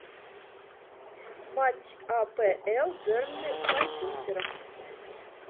матч апл бернли с манчестером